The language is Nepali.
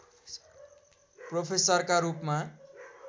प्रोफेसरका रूपमा